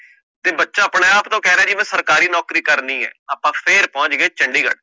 ਬੱਚਾ ਆਪਣੇ ਆਪ ਤੋਂ ਕਹਿ ਰਿਹਾ, ਕਿ ਮੈਂ ਸਰਕਾਰੀ ਨੌਕਰੀ ਕਰਨੀ ਹੈ ਜੀ, ਆਪਾ ਫੇਰ ਚਲੇ ਚੰਡੀਗੜ੍ਹ